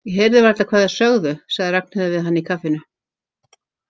Ég heyrði varla hvað þeir sögðu, sagði Ragnheiður við hana í kaffinu.